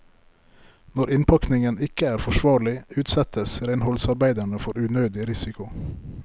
Når innpakningen ikke er forsvarlig, utsettes renholdsarbeiderne for unødig risiko.